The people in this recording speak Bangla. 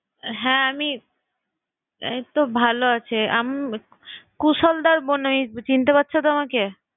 হ্যাঁ আমি। এইতো ভালো আছে। আম~ কুশলদার বোন আমি। চিনতে পারছো তো আমাকে?